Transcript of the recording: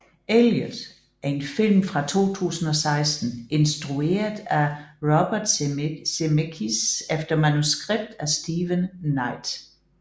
Allied er en film fra 2016 instrueret af Robert Zemeckis efter manuskript af Steven Knight